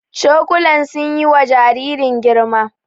Cokulan sun yi wa jaririn girma